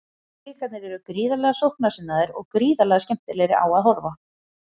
Blikarnir eru gríðarlega sóknarsinnaðir og gríðarlega skemmtilegir á að horfa.